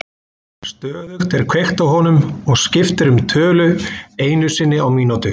Stöðugt er kveikt á honum og skipt er um tölu einu sinni á mínútu.